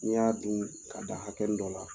Ni n y'a dun ka dan hakɛnin dɔ la